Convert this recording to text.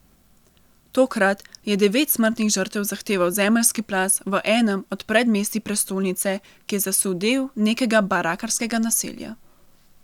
Tokrat je devet smrtnih žrtev zahteval zemeljski plaz v enem od predmestij prestolnice, ki je zasul del nekega barakarskega naselja.